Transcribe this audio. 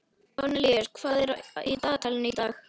Kornelíus, hvað er í dagatalinu í dag?